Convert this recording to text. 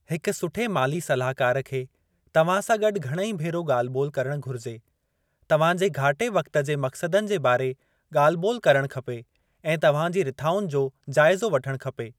हिकु सुठे माली सलाहकारु खे तव्हां सां गॾु घणेई भेरो ॻाल्ह-ॿोलि करणु घुरिजे। तव्हांजे घाटे वक़्ति जे मक़्सदनि जे बारे ॻाल्ह-ॿोलि करणु खपे ऐं तव्हां जी रिथाउनि जो जाइज़ो वठणु खपे।